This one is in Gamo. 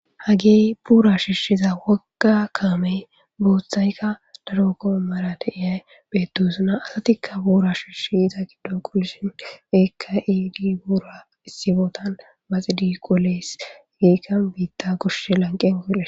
Hagey bura shishiza woga kamey bothayka daro gomara de'iya bettosona asatika bura shishi ehidi iza gidon qolishe betosona ika ehidi bura issi bottan qoles.